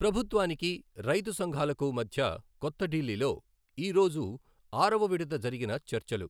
ప్రభుత్వానికి, రైతు సంఘాలకు మధ్య కొత్తఢిల్లీలో ఈరోజు ఆరవ విడత జరిగిన చర్చలు